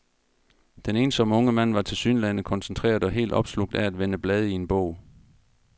Den ensomme unge mand var tilsyneladende koncentreret og helt opslugt af at vende blade i en bog.